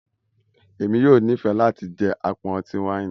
Èmi yóò n'ifẹ láti jẹ apọn ọti-waini